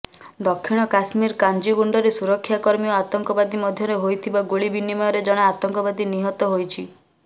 ଦକ୍ଷିଣ କାଶ୍ମୀର କାଜିଗୁଣ୍ଡରେ ସୁରକ୍ଷାକର୍ମୀ ଓ ଆତଙ୍କବାଦୀ ମଧ୍ୟରେ ହୋଇଥିବା ଗୁଳି ବିନିମୟରେ ଜଣେ ଆତଙ୍କବାଦୀ ନିହତ ହୋଇଛି